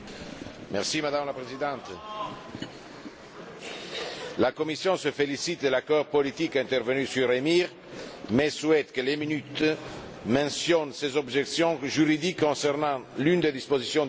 Madame la Présidente, la Commission se félicite de l'accord politique intervenu sur EMIR, mais souhaite que le procès verbal mentionne ses objections juridiques concernant l'une des dispositions du texte.